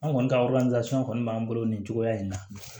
An kɔni ka kɔni b'an bolo nin cogoya in na